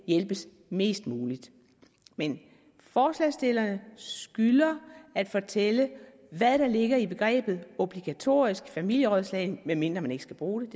hjælpes mest muligt men forslagsstillerne skylder at fortælle hvad der ligger i begrebet obligatorisk familierådslagning medmindre man ikke skal bruge